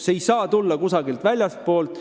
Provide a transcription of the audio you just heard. See ei saa tulla kusagilt väljastpoolt.